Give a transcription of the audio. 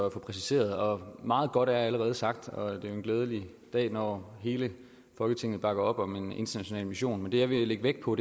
at få præciseret meget godt er allerede sagt og det er en glædelig dag når hele folketinget bakker op om en international mission men det jeg vil lægge vægt på